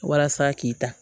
Walasa k'i ta